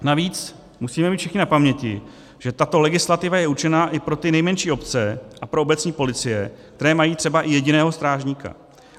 Navíc musíme mít všichni na paměti, že tato legislativa je určena i pro ty nejmenší obce a pro obecní policie, které mají třeba i jediného strážníka.